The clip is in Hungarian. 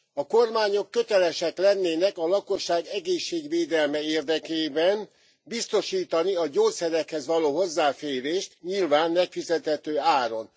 A kormányok kötelesek lennének a lakosság égészségvédelme érdekében biztosítani a gyógyszerekhez való hozzáférést, nyilván megfizethető áron.